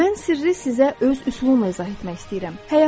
Mən sirri sizə öz üsulumla izah etmək istəyirəm.